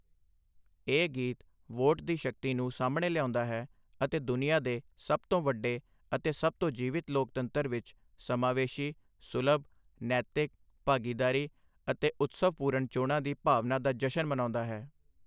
ਇਹ ਗੀਤ ਵੋਟ ਦੀ ਸ਼ਕਤੀ ਨੂੰ ਸਾਹਮਣੇ ਲਿਆਉਂਣਾ ਹੈ ਅਤੇ ਦੁਨੀਆ ਦੇ ਸਭ ਤੋਂ ਵੱਡੇ ਅਤੇ ਸਭ ਤੋਂ ਜੀਵਿੰਤ ਲੋਕਤੰਤਰ ਵਿੱਚ ਸਮਾਵੇਸ਼ੀ, ਸੁਲਭ, ਨੈਤਿਕ, ਭਾਗੀਦਾਰੀ ਅਤੇ ਉਤਸਵਪੂਰਣ ਚੋਣਾਂ ਦੀ ਭਾਵਨਾ ਦਾ ਜਸ਼ਨ ਮਨਾਉਂਦਾ ਹੈ।